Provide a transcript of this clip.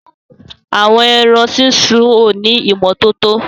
Àwọn ẹrán sísun o ni ìmọ̀tọ̀tọ